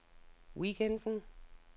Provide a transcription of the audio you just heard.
weekenden